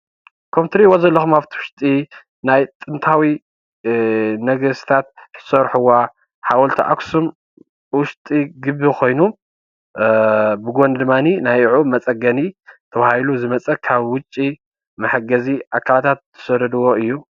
ከምቲ ትሪኢዎ ዘለኩም አብቲ ውሽጢ ናይ ጥንታዊ ነገስታተ ዝስርሕዎ ሓወልቲ አኽሱም ውሽጢ ግቢ ኮይኑ ብጎኒ ድማኒ ንዕኡ መፀገኒ ተባሂሉ ዝመፀ ካብ ውጪ መሕገዚ አካላት ዝሰደድዋ እዩ፡፡